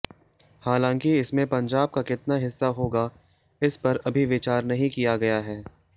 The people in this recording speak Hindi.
हालांकि इसमें पंजाब का कितना हिस्सा होगा इस पर अभी विचार नहीं किया गया है